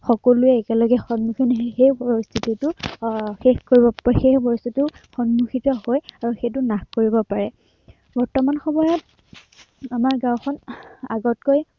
সকলোৱে একেলগে সন্মুখীন হৈ সেই পৰিস্থিতিটোক আহ শেষ কৰিব আহ সেই পৰিস্থিতিটোৰ সন্মুখিত হৈ আহ সেইটো নাশ কৰিব পাৰে। বৰ্তমান সময়ত, আমাৰ গাওঁখন আহ আগতকৈ